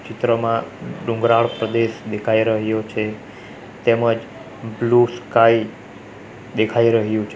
ચિત્રમાં ડુંગરાળ પ્રદેશ દેખાઈ રહ્યો છે તેમજ બ્લુ સ્કાય દેખાઈ રહ્યું છે.